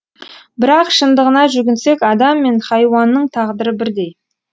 бірақ шындығына жүгінсек адам мен хайуанның тағдыры бірдей